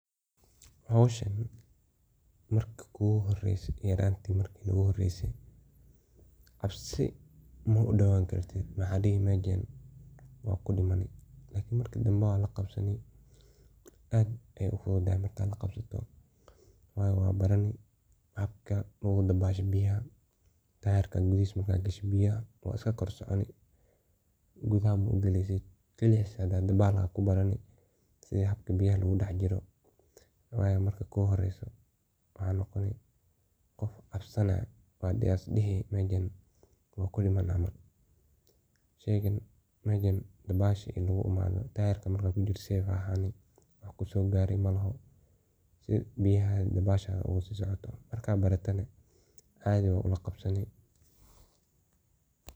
Howshan yarantey marki igu horese cabsi waxa dhihi meshan waa kudimani ,lakin marki danbe waa la qabsani oo aad ayey u fudutahay markad la qabsato waye waa barani habka biyaha logu dabasho. Tayarkan waa iska dax soconi oo qatar waye. Wayo marka kugu horeso waa cabsani waa dihi mejan dabal maoga bixi kari, dabasha fuded noqoni tayarka markad kujirto garii maoho ,marka baratana adhii baa ola qabsani.